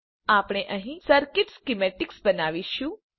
આપણે અહીં circuit schematics બનાવીશુ